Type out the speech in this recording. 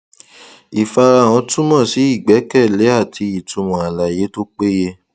ìfarahàn túmọ sí ìgbẹkẹlé àti ìtumọ àlàyé tó péye